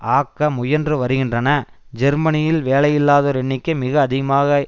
ஆக்க முயன்று வருகின்றன ஜெர்மனியில் வேலையில்லாதோர் எண்ணிக்கை மிக அதிகமாக